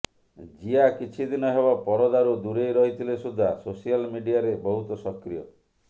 ଜିଆ କିଛି ଦିନ ହେବ ପରଦାରୁ ଦୂରେଇ ରହିଥିଲେ ସୁଦ୍ଧା ସୋସିଆଲ ମିଡିଆରେ ବହୁତ ସକ୍ରିୟ